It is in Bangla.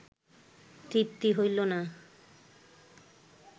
তৃপ্তি হইল না